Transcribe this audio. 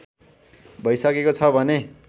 भइसकेको छ भने